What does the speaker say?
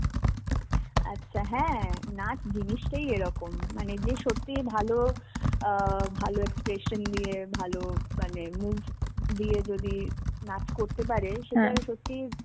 আচ্ছা হ্যাঁ, নাচ জিনিসটাই এরকম. মানে যে সত্যিই ভালো আ ভালো expression নিয়ে ভালো মানে move দিয়ে যদি নাচ করতে পারে সেটার সত্যি